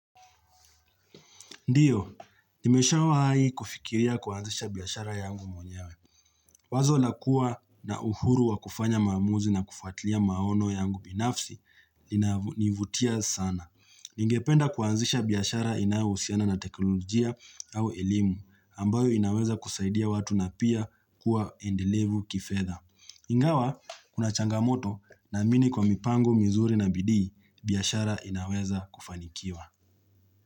Ndiyo, nimesha wa hai kufikilia kuanzisha biashara yangu mwenyewe. Wazo lakua na uhuru wa kufanya maamuzi na kufatilia maono yangu binafsi, inanivutia sana. Ningependa kuanzisha biashara inayohusiana na teknolojia au elimu, ambayo inaweza kusaidia watu na pia kuwa endelevu kifedha. \Ingawa, kuna changamoto na mini kwa mipango, mizuri na bidii, biashara inaweza kufanikiwa.